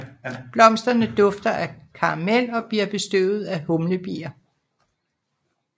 Blomsterne dufter af karamel og bliver bestøvet af humlebier